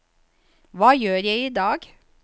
hva gjør jeg idag